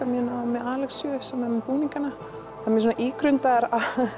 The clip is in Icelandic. mjög náið með sem er með búningana það er mjög svona ígrundaðar